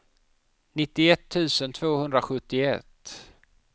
nittioett tusen tvåhundrasjuttioett